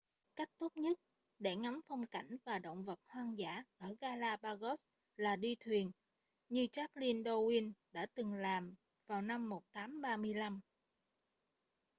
cách tốt nhất để ngắm phong cảnh và động vật hoang dã ở galapagos là đi thuyền như charles darwin đã từng làm vào năm 1835